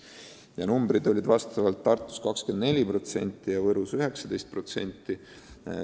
Need numbrid olid Tartus 24% ja Võrus 19%.